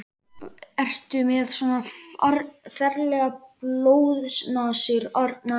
Ertu með svona ferlegar blóðnasir, Arnar minn?